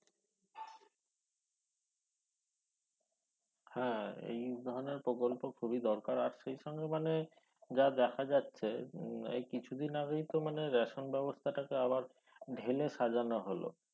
হ্যা এই ধরনের প্রকল্প খুবই দরকার আর সেই সঙ্গে মানে যা দেখা যাচ্ছে উম এই কিছুদিন আগেই তো মানে ration ব্যবস্তাটাকে আবার ঢেলে সাজানো হল